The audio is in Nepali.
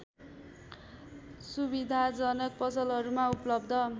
सुविधाजनक पसलहरूमा उपलब्ध